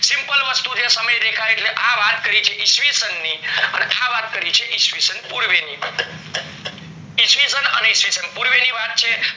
simple વસ્તુ છે સમય રેખા એટલે આ વાત કરી છે એ ઈશ્વીસન ની અને આ વાત કરી છે ઈશ્વીસન પૂર્વે ની ઈશ્વીષણ અને ઈશ્વીષણ પૂર્વે ની વાત છે